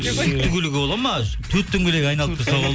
сүйікті көлігі болады ма төрт дөңгелегі айналып тұрса